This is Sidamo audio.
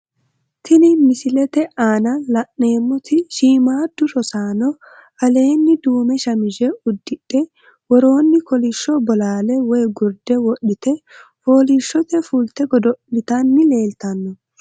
Tini misilete aana la`neemoti shimamaadu rosaano aleeni duume shamize udidhe worooni kolisho bolaale woyi gurde wodhite foolishote fulte godo`litani leeltano.